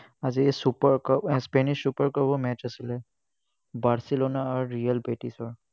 আজি super আহ spanish super cup ৰ match আছিলে। barcelona আৰু real ৰ